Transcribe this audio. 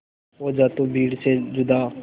हो जा तू भीड़ से जुदा